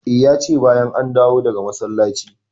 E, ya ce bayan an dawo daga masallaci.